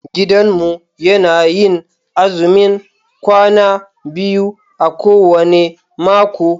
Gidanmu yana yin azumin kwana biyu a kowane mako.